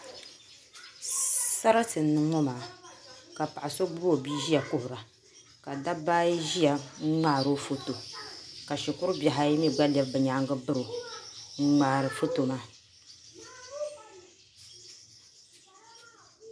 Sarati n niŋ ŋo maa ka paɣa so gbubi o bia ʒiya kuhura ka dabba ayi ʒiya n ŋmaaro foto ka shikuru bihi ayi mii gba lɛbi bi nyaangi biro n ŋmaari foto maa